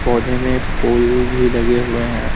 पौधे में फूल भी लगे हुए हैं।